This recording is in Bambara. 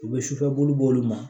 U bɛ sufɛ buru b'olu ma